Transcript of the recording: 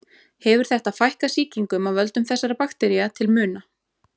Hefur þetta fækkað sýkingum af völdum þessara baktería til muna.